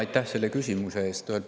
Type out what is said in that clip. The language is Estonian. Aitäh selle küsimuse eest!